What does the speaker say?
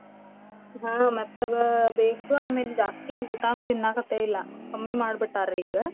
ಹಾ ಮೆತ್ತಗ ಬೇಕು ಆಮೇಲ್ ಜಾಸ್ತಿ ಊಟಾನು ತಿನ್ನಾಕತೆಯಿಲ್ಲಾ ಕಮ್ಮಿ ಮಾಡಿ ಬಿಟ್ಟಾರಿ ಈಗ.